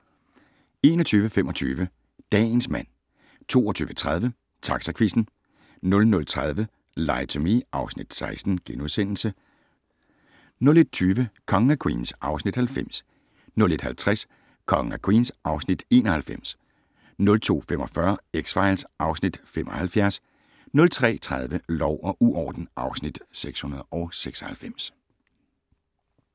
21:25: Dagens mand 22:30: Taxaquizzen 00:30: Lie to Me (Afs. 16)* 01:20: Kongen af Queens (Afs. 90) 01:50: Kongen af Queens (Afs. 91) 02:45: X-Files (Afs. 75) 03:30: Lov og uorden (Afs. 696)